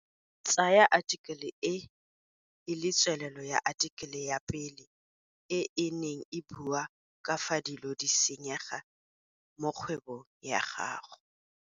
Tsaya athikele e e le tswelelo ya athikele ya pele e e neng e bua ka fa dilo di senyega mo kgwebong ya gago.